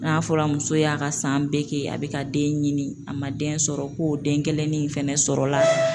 N'a fɔra muso y'a ka san bɛɛ kɛ a bɛ ka den ɲini a ma den sɔrɔ ko den kelennin fɛnɛ sɔrɔ la.